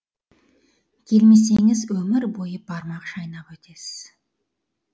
келмесеңіз өмір бойы бармақ шайнап өтесіз